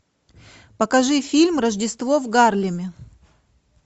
покажи фильм рождество в гарлеме